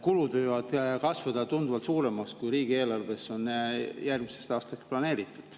Kulud võivad kasvada tunduvalt suuremaks, kui riigieelarves on järgmisteks aastateks planeeritud.